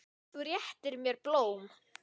Þú réttir mér blóm.